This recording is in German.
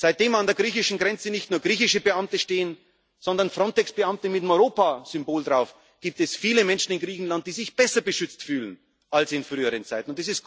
Seitdem an der griechischen Grenze nicht nur griechische Beamte stehen, sondern Frontex Beamte mit dem Europasymbol, gibt es viele Menschen in Griechenland, die sich besser beschützt fühlen als in früheren